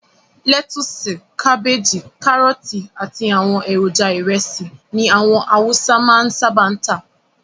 Lẹ́tusì, kábéjì, kárọ́tì àti àwọn èròjà ìrẹsì ni àwọn awúsá máa ń sábà máa ń tà.